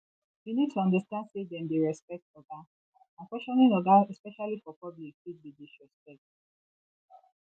you need to understand sey dem dey respect oga and questioning oga especially for public fit be disrespect